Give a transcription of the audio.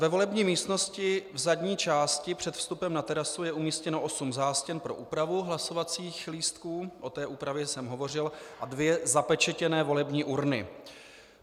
Ve volební místnosti v zadní části před vstupem na terasu je umístěno osm zástěn pro úpravu hlasovacích lístků, o té úpravě jsem hovořil, a dvě zapečetěné volební urny.